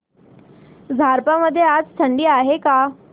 झारप मध्ये आज थंडी आहे का